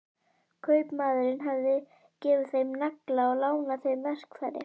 Kaupmaðurinn hafði gefið þeim nagla og lánað þeim verkfæri.